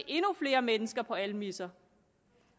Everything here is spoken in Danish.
endnu flere mennesker skal på almisser